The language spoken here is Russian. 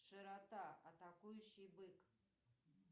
широта атакующий бык